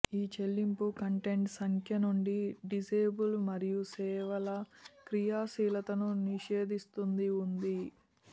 ఈ చెల్లింపు కంటెంట్ సంఖ్య నుండి డిసేబుల్ మరియు సేవల క్రియాశీలతను నిషేధిస్తుంది ఉంది